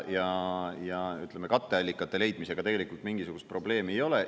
Ja, ütleme, katteallikate leidmisega tegelikult mingisugust probleemi ei ole.